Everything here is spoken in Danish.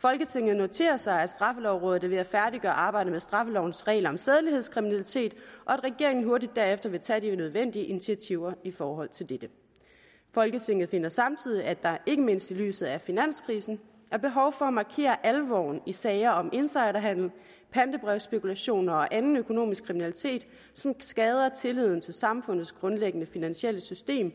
folketinget noterer sig at straffelovrådet er ved at færdiggøre arbejdet med straffelovens regler om sædelighedskriminalitet og at regeringen hurtigt herefter vil tage de nødvendige initiativer i forhold til dette folketinget finder samtidig at der ikke mindst i lyset af finanskrisen er behov for at markere alvoren i sager om insiderhandel pantebrevsspekulation og anden økonomisk kriminalitet som skader tilliden til samfundets grundlæggende finansielle system